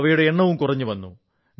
അവയുടെ എണ്ണവും കുറഞ്ഞുവന്നു